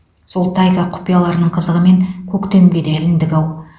сол тайга құпияларының қызығымен көктемге де іліндік ау